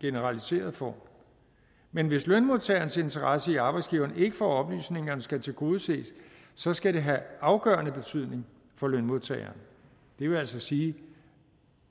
generaliseret form men hvis lønmodtagerens interesse i at arbejdsgiveren ikke får oplysningerne skal tilgodeses så skal det have afgørende betydning for lønmodtageren det vil altså sige